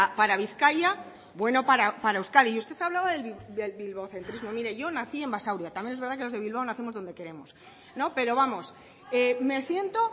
para bizkaia bueno para euskadi y usted hablaba del bilbocentrismo mire yo nací en basauri también es verdad que los de bilbao nacemos donde queremos pero vamos me siento